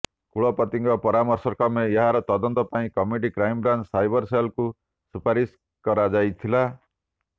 କୁଳପତିଙ୍କ ପରାମର୍ଶକ୍ରମେ ଏହାର ତଦନ୍ତ ପାଇଁ କମିଟି କ୍ରାଇମବ୍ରାଞ୍ଚ ସାଇବର ସେଲ୍କୁ ସୁପାରିସ କରାଯାଇଥିଲା